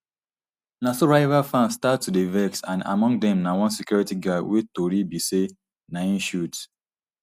na so di rival fans start to dey vex and among dem na one security guard wey tori be say na im shoot